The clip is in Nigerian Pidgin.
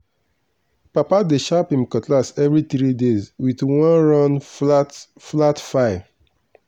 papa dey sharp him cutlass every three days with one round flat flat file.